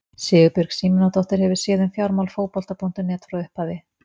Sigurbjörg Símonardóttir hefur séð um fjármál Fótbolta.net frá upphafi.